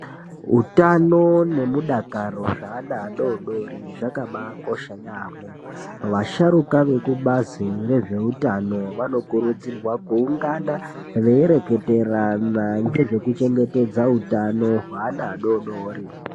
Utano nekudakara zveana adodori zvakabakosha yaamho vasharuka vekubazi rezveutano vanokurudzirwa kuungana veireketerana nezvekuchengetedza utano hwevana adodori .